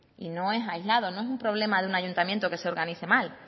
y no es aislado no es un problema de un ayuntamiento que se organice mal